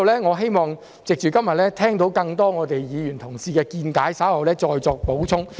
我希望今天聽到更多議員同事的見解後，稍後再作補充。